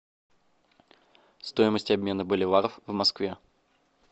стоимость обмена боливаров в москве